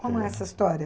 Como é essa história?